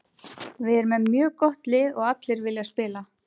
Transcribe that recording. Við erum með mjög gott lið og allir vilja spila.